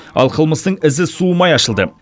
ал қылмыстың ізі суымай ашылды